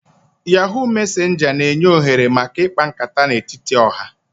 Yahoo mesenja n'enye ohere maka ikpa nkata n'etiti oha